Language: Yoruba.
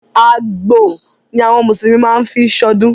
Àgbò ni àwọn mùsùlùmí má ń fí ṣọdún.